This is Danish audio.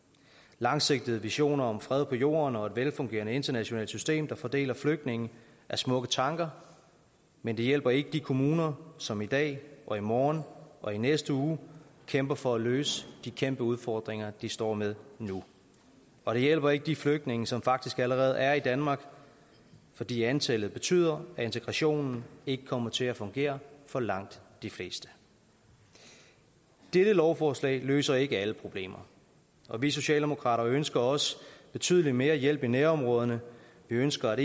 langsigtede visioner om fred på jorden og et velfungerende internationalt system der fordeler flygtninge er smukke tanker men det hjælper ikke de kommuner som i dag og i morgen og i næste uge kæmper for at løse de kæmpe udfordringer de står med nu og det hjælper ikke de flygtninge som faktisk allerede er i danmark fordi antallet betyder at integrationen ikke kommer til at fungere for langt de fleste dette lovforslag løser ikke alle problemer og vi socialdemokrater ønsker også betydelig mere hjælp i nærområderne vi ønsker